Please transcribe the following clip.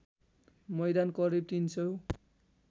मैदान करिब ३००